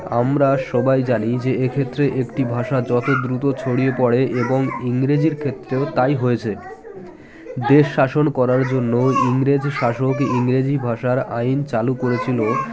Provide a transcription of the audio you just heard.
আমরা সবাই জানি যে এক্ষেত্রে একটি ভাষা যত দ্রুত ছড়িয়ে পড়ে এবং ইংরেজির ক্ষেত্রেও তাই হয়েছে দেশ শাসন করার জন্য ইংরেজ শাসক ইংরেজি ভাষার আইন চালু করেছিল